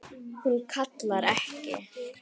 Hún kallar ekki: